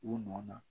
U nɔ na